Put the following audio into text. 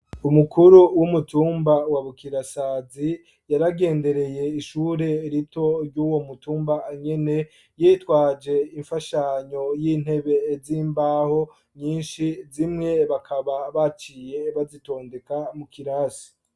Umukuru w'umutumba wa bukirasazi yaragendereye ishure rito ry'uwo mutumba nyene yitwaje imfashanyo y'intebe z'imbaho nyinshi, zimwe bakaba baciye bazitondeka mu kirasi.